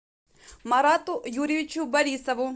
марату юрьевичу борисову